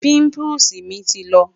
pimples mi ti lọ